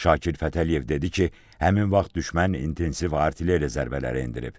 Şakir Fətəliyev dedi ki, həmin vaxt düşmən intensiv artilleriya zərbələri endirib.